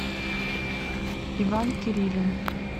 иван кирилин